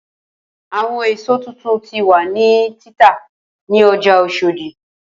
Awọn eso titun ti wa ni tita ni ọja oshodi.